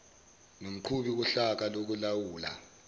nomqhubi wohlaka lokulawula